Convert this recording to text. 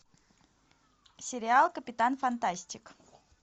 сериал капитан фантастик